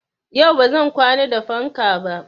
Yau ba zan kwana da fanka ba.